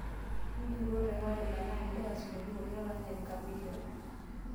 intururo teholela naa nidala isingolioitin pooki lolaranyani chameleon